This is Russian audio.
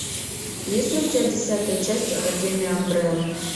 есть ли у тебя десятая часть академия амбрелла